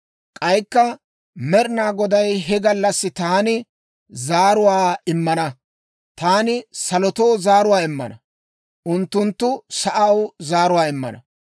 K'aykka Med'inaa Goday, «He gallassi taani zaaruwaa immana; taani salotoo zaaruwaa immina, unttunttu sa'aw zaaruwaa immana.